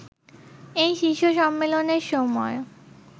এই শীর্ষ সম্মেলনের সময়